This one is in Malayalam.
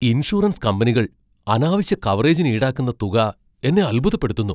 ഇൻഷുറൻസ് കമ്പനികൾ അനാവശ്യ കവറേജിന് ഈടാക്കുന്ന തുക എന്നെ അത്ഭുതപ്പെടുത്തുന്നു.